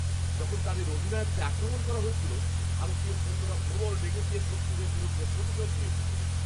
যখন তাদের অধিনায়ককে আক্রমণ করা হয়েছিল, ভারতীয় সৈন্যরা প্রবল রেগে গিয়ে শত্রুদের বিরুদ্ধে প্রতিশোধ নিয়েছিল।